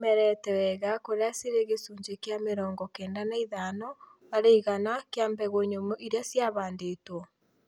Nĩcimerete wega kũrĩa cĩrĩ gĩcunjĩ kĩa mĩrongo kenda na ĩtano harĩ igana kĩa mbegũ nyũmũ irĩa ciahandĩtwo